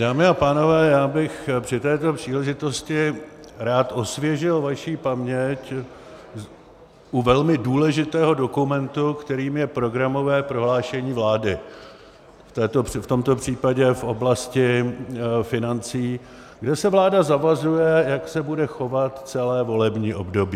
Dámy a pánové, já bych při této příležitosti rád osvěžil vaši paměť u velmi důležitého dokumentu, kterým je programové prohlášení vlády, v tomto případě v oblasti financí, kde se vláda zavazuje, jak se bude chovat celé volební období.